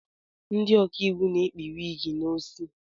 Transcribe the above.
Ndị ọkaiwu na-ekpu wiigi n'osi.